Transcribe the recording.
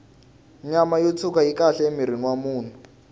nyama yo tshwuka yi kahle emirhini wa munhu